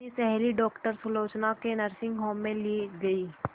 अपनी सहेली डॉक्टर सुलोचना के नर्सिंग होम में ली गई